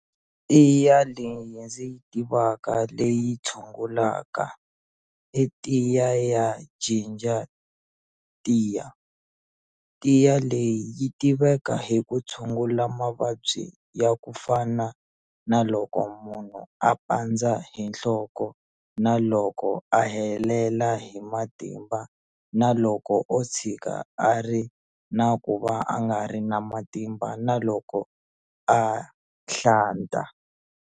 Tiya leyi ndzi yi tivaka leyi tshungulaka i tiya ya jinja tiya tiya leyi yi tiveka hi ku tshungula mavabyi ya ku fana na loko munhu a pandza hi nhloko na loko a helela hi matimba na loko o tshika a ri na ku va a nga ri na matimba na loko a hlanta.